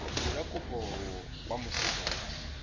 dira kopo kwa moseja wa